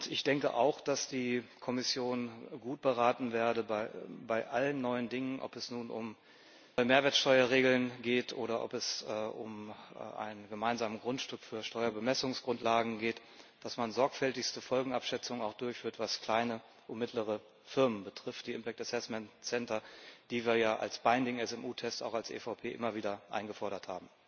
Ich denke auch, dass die Kommission gut beraten wäre, dass man bei allen neuen Dingen ob es nun um neue Mehrwertsteuerregeln geht oder ob es um einen gemeinsamen Grundstock für Steuerbemessungsgrundlagen geht auch sorgfältigste Folgenabschätzungen durchführt, was kleine und mittlere Firmen betrifft die impact assessment centers die wir ja als verpflichtende KMU Tests als EVP auch immer wieder eingefordert haben.